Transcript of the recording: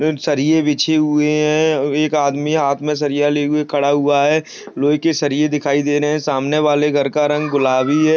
सरिये बिछे हुई है एक आदमी हाथ मे सरिया लेके खड़ा हुआ है लोहे के सरिये दिखाइ दे रहे है सामने वाले घर का रंग गुलाबी है।